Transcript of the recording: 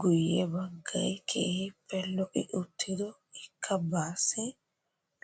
Guye baggay keehippe lo"i uttido ikka baassi